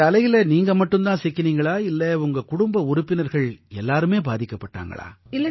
இந்த அலையில நீங்க மட்டும் தான் சிக்கினீங்களா இல்லை உங்க குடும்ப உறுப்பினர்கள் எல்லாருமே பாதிக்கப்பட்டாங்களா